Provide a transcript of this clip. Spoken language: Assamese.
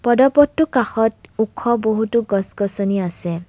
পদপথটোৰ কাষত ওখ বহুতো গছ-গছনি আছে।